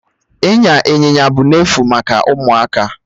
Ịnya Ịnyịnya bụ n'efu maka ụmụaka